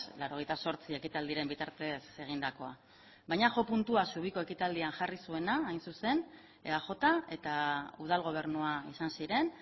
laurogeita zortzi ekitaldiren bitartez egindakoa baina jo puntua zubiko ekitaldian jarri zuena hain zuzen eaj eta udal gobernua izan ziren